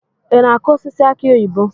Ị na-akụ osisi aki oyibo?